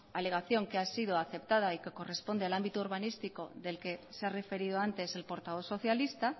alegación que ha sido aceptada y que corresponde al ámbito urbanístico del que se ha referido antes el portavoz socialista